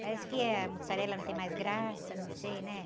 Parece que a mussarela não tem mais graça, não sei, né?